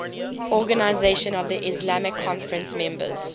organisation of the islamic conference members